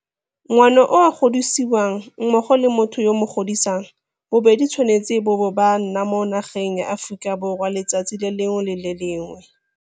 Ngwana yo a godisiwang mmogo le motho yo a mo godisang bobedi bo tshwanetse bo bo ba nna mo nageng ya Aforika Borwa letsatsi le lengwe le le lengwe.